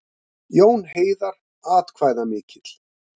Jón Heiðar atkvæðamikill